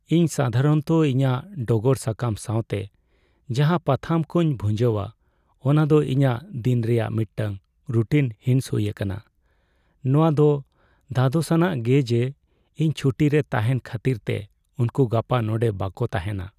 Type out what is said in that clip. ᱤᱧ ᱥᱟᱫᱷᱟᱨᱚᱱᱛᱚ ᱤᱧᱟᱹᱜ ᱰᱚᱜᱚᱨ ᱥᱟᱠᱟᱢ ᱥᱟᱶᱛᱮ ᱡᱟᱦᱟᱸ ᱯᱟᱛᱷᱟᱢ ᱠᱚᱧ ᱵᱷᱩᱧᱡᱟᱹᱣᱟ ᱚᱱᱟᱫᱚ ᱤᱧᱟᱹᱜ ᱫᱤᱱ ᱨᱮᱭᱟᱜ ᱢᱤᱫᱴᱟᱝ ᱨᱩᱴᱤᱱ ᱦᱤᱸᱥ ᱦᱩᱭ ᱟᱠᱟᱱᱟ ᱾ ᱱᱚᱶᱟᱫᱚ ᱫᱷᱟᱫᱚᱥᱟᱱᱟᱜ ᱜᱮ ᱡᱮ ᱤᱧ ᱪᱷᱩᱴᱤ ᱨᱮ ᱛᱟᱦᱮᱱ ᱠᱷᱟᱹᱛᱤᱨᱛᱮ ᱩᱱᱠᱩ ᱜᱟᱯᱟ ᱱᱚᱸᱰᱮ ᱵᱟᱠᱚ ᱛᱟᱦᱮᱱᱟ ᱾